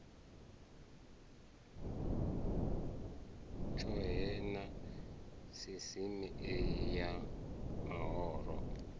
tshohe na sisieme ya mahoro